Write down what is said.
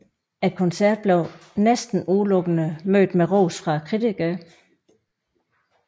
Koncert blev næsten udelukkende mødt med ros fra kritikerne